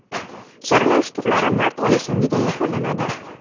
Saralash turlari mart oyi so‘ngida yakunlanadi.